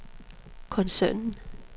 koncernen